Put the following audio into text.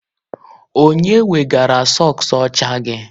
Onye wegara sọks ọcha gị?